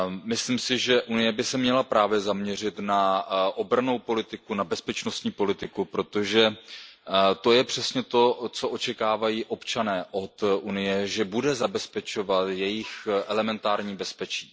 Myslím si, že Unie by se měla zaměřit na obrannou politiku, na bezpečnostní politiku, protože to je přesně to, co očekávají občané od Unie, že bude zabezpečovat jejich elementární bezpečí.